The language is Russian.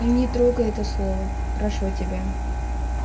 не трогай это слово прошу тебя